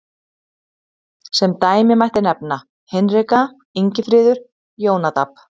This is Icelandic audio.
Sem dæmi mætti nefna Hinrika, Ingifríður, Jónadab.